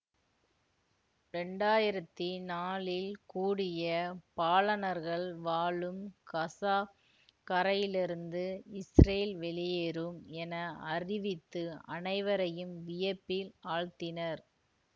இரண்டாயிரத்தி நாலில் கூடிய பாலனர்கள் வாழும் கசா கரையிலிருந்து இசுரேல் வெளியேறும் என அறிவித்து அனைவரையும் வியப்பில் ஆழ்த்தினர்